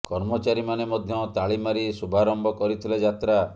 କର୍ମଚାରୀ ମାନେ ମଧ୍ୟ ତାଳି ମାରି ଶୁଭାରମ୍ଭ କରିଥିଲେ ଯାତ୍ରା